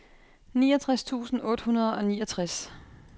niogtres tusind otte hundrede og niogtres